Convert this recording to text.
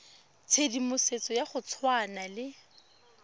tshedimosetso ya go tshwana le